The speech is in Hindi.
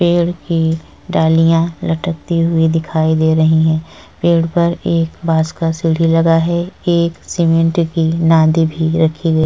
पेड़ की डालियाँ लटकती हुई दिखाई दे रही हैं। पेड़ पर एक बास का सीढ़ी लगा है। एक सीमेंट की भी रखी गई --